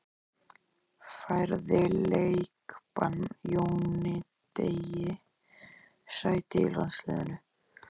Færði leikbann Jóni Degi sæti í landsliðinu?